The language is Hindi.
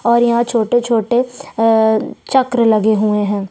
और यहाँ छोटे - छोटे अ चक्र लगे हुए है।